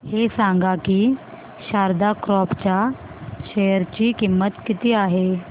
हे सांगा की शारदा क्रॉप च्या शेअर ची किंमत किती आहे